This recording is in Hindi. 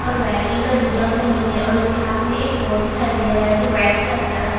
लड़की दिखाई दे रही है जो बैगनी रंग का टॉप पहनी हुई है और ब्लैक कलर का जींस पहनी हुई है।